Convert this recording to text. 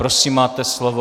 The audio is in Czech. Prosím, máte slovo.